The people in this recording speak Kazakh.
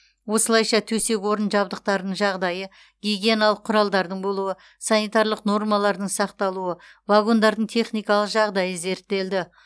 осылайша төсек орын жабдықтарының жағдайы гигиеналық құралдардың болуы санитарлық нормалардың сақталуы вагондардың техникалық жағдайы зерттелді